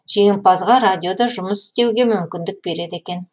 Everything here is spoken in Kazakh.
жеңімпазға радиода жұмыс істеуге мүмкіндік береді екен